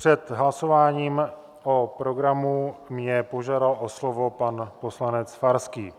Před hlasováním o programu mě požádal o slovo pan poslanec Farský